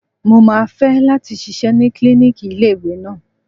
Mo máa fẹ́ láti ṣiṣẹ́ ní klíníkì ilé ìwé náà.